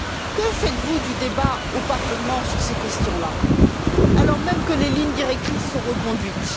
Que faites vous du débat au Parlement sur ces questions là, alors même que les lignes directrices sont reconduites?